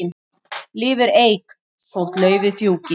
Lifir eik þótt laufið fjúki.